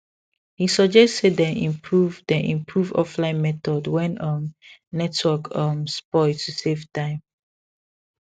he suggest say dem improve dem improve offline method when um network um spoil to save time